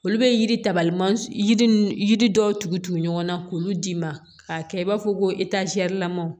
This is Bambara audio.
Olu bɛ yiri tabali man ji nun yiri dɔw tugu tugu ɲɔgɔn na k'olu d'i ma k'a kɛ i b'a fɔ ko lamanw